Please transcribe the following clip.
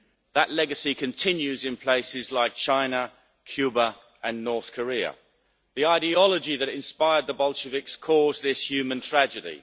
That legacy continues in places like China, Cuba and North Korea. The ideology that inspired the Bolsheviks caused this human tragedy.